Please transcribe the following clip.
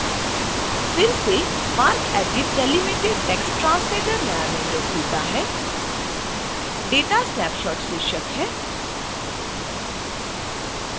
फिर से marcedit delimited text translator नया विंडो खुलता है data snapshot शीर्षक है